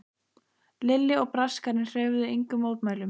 Lilli og Braskarinn hreyfðu engum mótmælum.